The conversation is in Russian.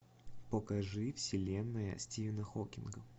покажи вселенная стивена хокинга